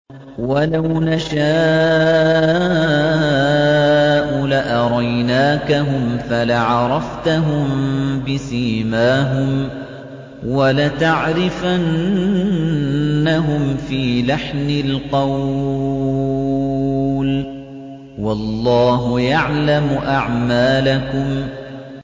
وَلَوْ نَشَاءُ لَأَرَيْنَاكَهُمْ فَلَعَرَفْتَهُم بِسِيمَاهُمْ ۚ وَلَتَعْرِفَنَّهُمْ فِي لَحْنِ الْقَوْلِ ۚ وَاللَّهُ يَعْلَمُ أَعْمَالَكُمْ